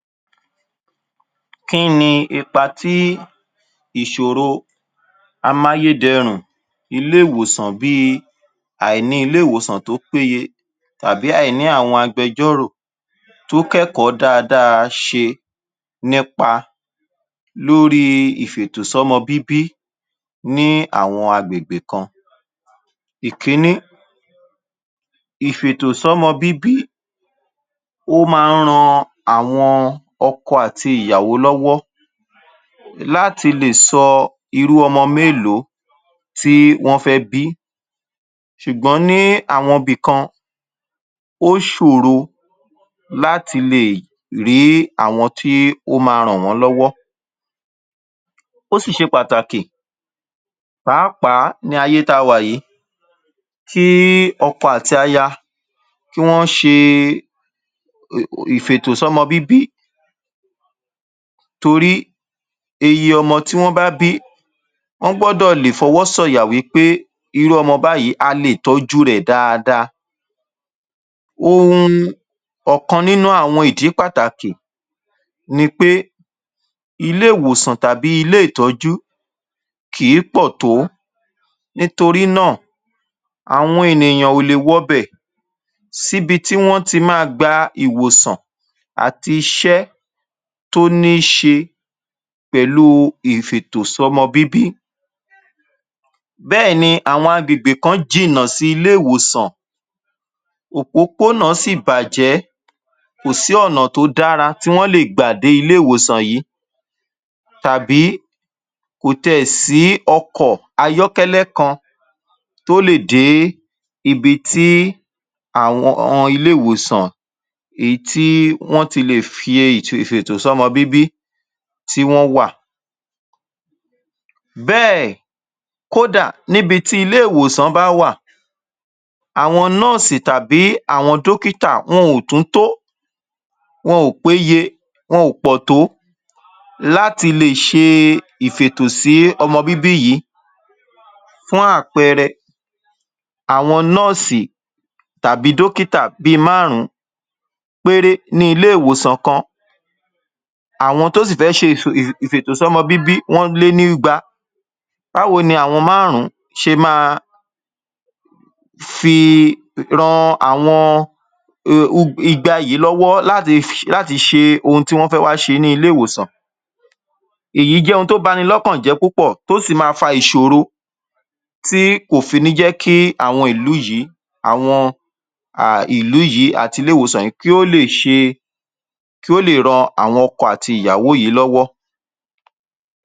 Kíni ipa tí ìṣòro amáyédẹrùn ilé ìwòsàn bíi àìní ilé ìwòsàn tó pé ye tàbí àìní àwọn agbẹjọ́rò tó kẹ́kọ̀ọ́ dáradára ṣe nípa lórí ìfètòsọ́mọbíbí ní àwọn agbègbè kan. Ìkínní, ìfètòsọ́mọbíbí ó maá ń ran àwọn ọkọ àti ìyàwó lọ́wọ́ láti lè sọ irú ọmọ mélòó tí wọ́n fẹ́ bí. Ṣùgbọ́n ní àwọn ibì kan, ó ṣọ̀rọ láti lè rí àwọn tí ó maá rán wọ́n lọ́wọ́. Ó sì ṣe pàtàkì, pàápàá ní ayé tá a wà yìí kí ọkọ àti aya kí wọ́n ṣe ìfètòsọ́mọbíbí torí iye ọmọ tí wọ́n bá bí, wọ́n gbọdọ̀ lè f'ọwọ́ sọ̀yà pé irú ọmọ báyìí a lè tọjú rẹ̀ dáadáa. um Ọkàn nínú àwọn ìdí pàtàkì nipé ilé ìwòsàn tàbí ilé ìtọjú kìí pò tó. Nítorí náà àwọn ènìyàn ò lè wọbẹ̀ síbi tí wọ́n ti maá gba ìwòsàn àti iṣẹ́ tó ní ń ṣe pẹ̀lú ìfètòsọ́mọbíbí, bẹ́ẹ̀ni àwọn agbègbè kan jìnà sí ilé ìwòsàn, òpópónà sì bàjẹ́ kò sí ọ̀nà tó dára tí wọ́n lè gbà dé ilé ìwòsàn yìí tàbí kò tiẹ̀ sí ọkọ ayọ́kẹ́lẹ́ kan tó lè dé ibi tí àwon ilé ìwòsàn èyí tí wọ́n tí lè fí fètòsọ́mọbíbí tí wọ́n wà. Bẹ́ẹ̀, kódà níbi tí ilẹ ìwòsàn bá wà, àwọn nọ́ọ̀sì tàbí àwọn dókítà wọn ò tún tó, wọn ò péye, wọn ò pọ̀ tó láti lè ṣe ìfètò sí ọmọbíbí yìí. Fún àpẹẹrẹ, àwọn nọ́ọ̀sì tàbí dókítà bíi máàrún péré ní ilé ìwòsàn kan. Àwọn tó sì fẹ́ fí ìfì ìfètòsọ́mọbíbí wọ́n lé ní ìgbà. Báwo ni àwọn máàrún ṣe máa fi ran àwọn um ìgbà yìí lọ́wọ́ láti ṣe ohun tí wọ́n fẹ́ wá ṣe ní ilé ìwòsàn. Èyí jẹ́ ohun tó bani lọ́kàn jẹ́ tó sì maá faa ìṣòro tí kò fi ní jékí àwọn ìlú yìí, àwọn um ìlú yìí àti ilé ìwòsàn yìí kí ó lè ṣe, kí ó lè ràn àwọn ọkọ àti ìyàwó yìí lọ́wọ́.